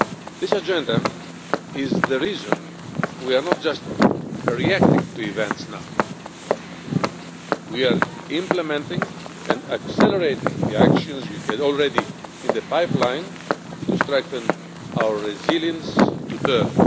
This agenda is the reason why we are not just reacting to events now. We are implementing and accelerating the actions we already had in the pipeline to strengthen our resilience to terror.